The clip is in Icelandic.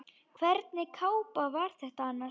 Hvernig kápa var þetta annars?